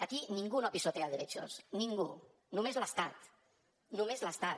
aquí ningú no pisotea derechos ningú només l’estat només l’estat